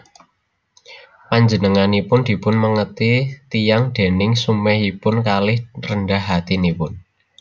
Panjenenganipun dipunmèngeti tiyang déning sumèhipun kalih rendah hati nipun